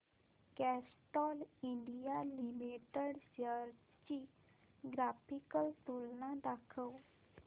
Castrol India Limited shares ची graphical तुलना दाखव